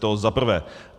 To zaprvé.